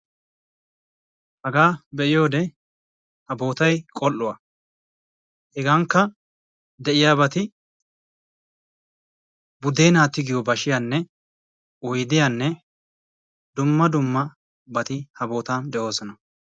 Hagaa be'iyode ha bootay qol'uwa. Hegankka de'iyabati budeena tiggiyo bashiyanne oyddiyanne dumma dummabati ha boottan de'oosona.